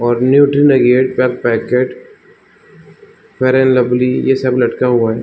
और nutri nuggets का packet fair and lovely ये सब लटका हुआ है ।